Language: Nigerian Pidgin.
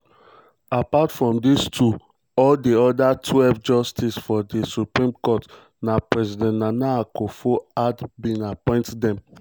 apart from dis two all di oda twelve justices for di supreme court na president nana akufo-addo bin appoint dem.